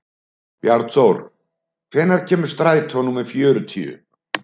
Bjarnþór, hvenær kemur strætó númer fjörutíu?